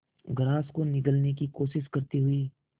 grass को निगलने की कोशिश करते हुए